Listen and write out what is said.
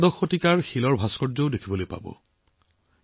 এইবোৰত একাদশ শতিকাৰ এটা ধুনীয়া বেলেগ শিলৰ ভাস্কৰ্যও চাবলৈ পাব